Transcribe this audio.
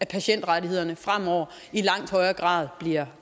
patientrettighederne fremover i langt højere grad bliver